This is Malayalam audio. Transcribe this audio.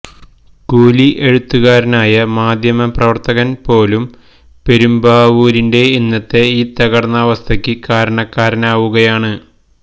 കൂലി എഴുത്തുകാരനായ മാധ്യമ പ്രവർത്തകൻ പോലും പെരുമ്പാവൂരിന്റ ഇന്നത്തെ ഈ തകർന്ന അവസ്ഥയ്ക്ക് കാരണക്കാരനാവുകയാണ്